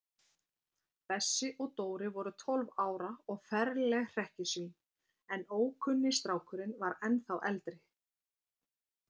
Bessi og Dóri voru tólf ára og ferleg hrekkjusvín, en ókunni strákurinn var ennþá eldri.